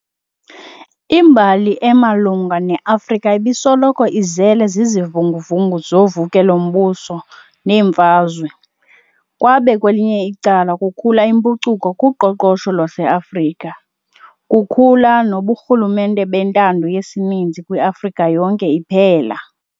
Imbali emalunga ne-Afrika ibisoloko izele zizivunguvungu zovukelo mbuso neemfazwe, kwabe kwelinye icala kukhula impucuko kuqoqosho lwase-Afrika, kukhula noburhulumente bentando yesininzi kwiafrika yonke iphela.